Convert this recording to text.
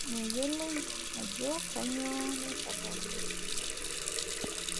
meyioloi eajo kainyioo naisababisha.